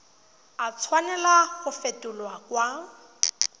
a tshwanela go fetolwa kwa